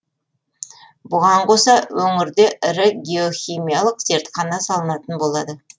бұған қоса өңірде ірі геохимиялық зертхана салынатын болады